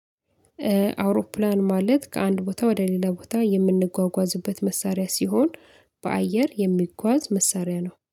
አውሮፕላን ማለት ከአንድ ቦታ ወደ ሌላ ቦታ የምንጓጓዝበት መሳሪያ ሲሆን በአየር የሚጓዝ መሳሪያ ነው